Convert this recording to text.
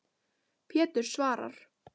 Pétur svarar.